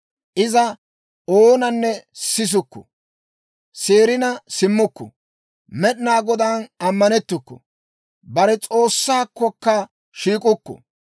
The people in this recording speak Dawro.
Iza oonanne sisukku; seerina simmukku; Med'inaa Godaan ammanettukku; bare S'oossaakkokka shiik'ukku.